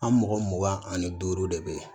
An mɔgɔ mugan ani duuru de bɛ yen